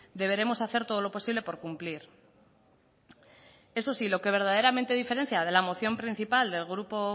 deberemos hacer todo lo posible por cumplir eso sí lo que verdaderamente diferencia de la moción principal del grupo